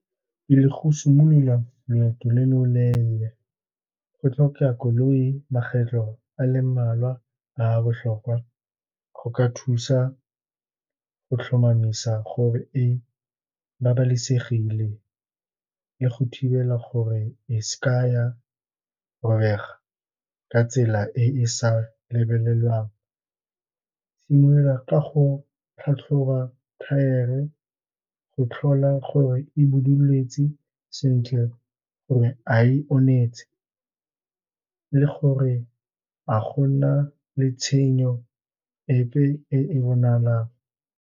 Le go simolola loeto lo leleele go tlhokega koloi, makgetlho a le mmalwa a botlhokwa go ka thusa go tlhomamisa gore e babalesegile ka go thibela gore e se ka ya robega ka tsela e e sa lebelelwang. Simolola ka go tlhatlhoba thaere, go tlhola gore e buduletse sentle, gore a e onetse, le gore ga gona le tshenyo epe e e bonalang.